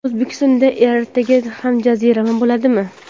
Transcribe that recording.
O‘zbekistonda ertaga ham jazirama bo‘ladimi?.